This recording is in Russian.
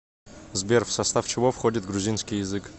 сбер в состав чего входит грузинский язык